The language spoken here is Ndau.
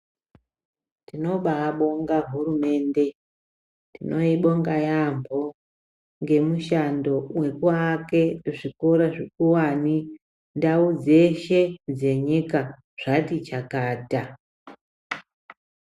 Tinobaabonga hurumende, tinoibonga yaambo ngemushando wekuake zvikora zvekuwani. Ndau dzeshe dzenyika, zvati chakata.